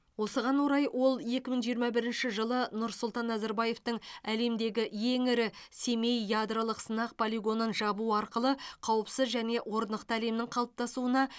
осыған орай ол екі мың жиырма бірінші жылы нұрсұлтан назарбаевтың әлемдегі ең ірі семей ядролық сынақ полигонын жабу арқылы қауіпсіз және орнықты әлемнің қалыптасуына